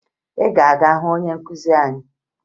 Ị ga-aga hụ onye nkụzi anyị?